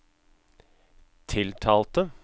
tiltalte